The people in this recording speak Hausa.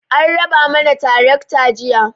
An raba mana tarakta jiya.